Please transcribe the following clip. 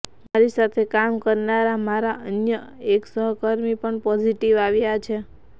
મારી સાથે કામ કરનારા મારા અન્ય એક સહકર્મી પણ પોઝિટિવ આવ્યા છે